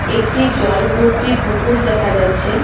একটি জল ভর্তি পুকুর দেখা যাচ্ছে।